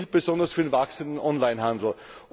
Das gilt besonders für den wachsenden Online Handel.